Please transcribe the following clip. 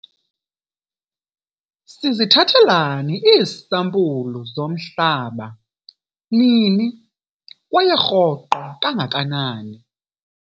Sizithathelani iisampulu zomhlaba, nini kwaye rhoqo kangakanani